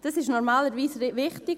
Das ist normalerweise wichtig.